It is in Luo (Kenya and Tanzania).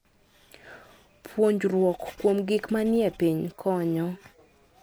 Puonjruok kuom gik manie piny konyo.